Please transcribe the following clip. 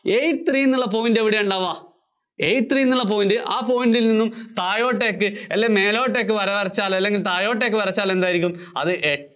eight three എന്ന point എവിടെയാ ഉണ്ടാവ്വാ? eight three എന്നുള്ള point ആ point ല്‍ നിന്നും താഴോട്ടേക്ക് അല്ലെങ്കില്‍ മേലോട്ടേക്ക് വര വരച്ചാല്‍ അല്ലെങ്കില്‍ മേലോട്ടേക്ക് വര വരച്ചാല്‍ എന്തായിരിക്കും അത്